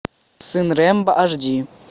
сын рембо аш ди